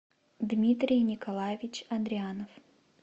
дмитрий николаевич адреанов